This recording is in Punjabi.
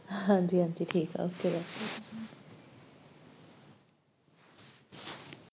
ਹਾਂਜੀ, ਹਾਂਜੀ ਠੀਕ ਆ okay bye